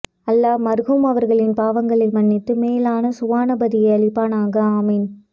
அல்லாஹ் மர்ஹூம் அவர்களின் பாவங்களை மன்னித்து மேலான சுவனபதியை அளிப்பானாக ஆமீன்